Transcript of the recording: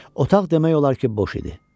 Otaq demək olar ki, boş idi.